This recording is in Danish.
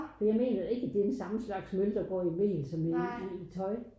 For jeg mener da ikke at det er den samme slags møl der bor i mel som i i tøj